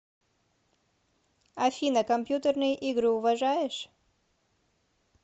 афина компьютерные игры уважаешь